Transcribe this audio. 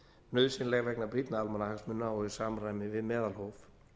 nauðsynleg vegna brýnna almannahagsmuna og í samræmi við meðalhóf